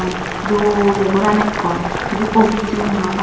dol ey ghoran ekkore iben office room parapang.